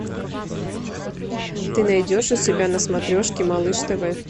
ты найдешь у себя на смотрешке малыш тв